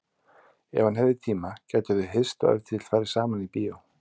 Ef hann hefði tíma gætu þau hist og ef til vill farið saman í bíó.